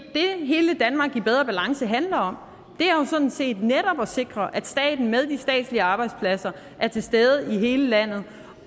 hele danmark i bedre balance handler om er jo sådan set netop at sikre at staten med de statslige arbejdspladser er til stede i hele landet